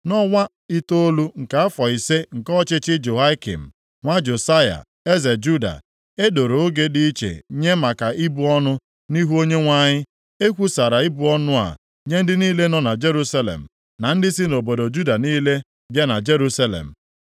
Nʼọnwa itoolu nke afọ ise nke ọchịchị Jehoiakim nwa Josaya eze Juda, e doro oge dị iche nye maka ibu ọnụ nʼihu Onyenwe anyị. E kwusara ibu ọnụ a nye ndị niile nọ na Jerusalem, na ndị si nʼobodo Juda niile bịa na Jerusalem.